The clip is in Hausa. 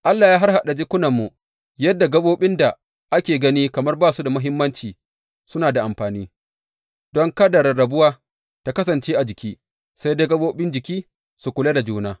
Allah ya harhaɗa jikunanmu yadda gaɓoɓin da ake gani kamar ba su da muhimmanci suna da amfani, don kada rarrabuwa ta kasance a jiki, sai dai gaɓoɓin jiki su kula da juna.